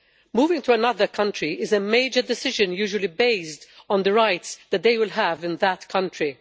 Moving to another country is a major decision, usually based on the rights that they would have in that country.